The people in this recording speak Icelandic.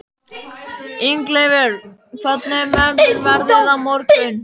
Ingileifur, hvernig verður veðrið á morgun?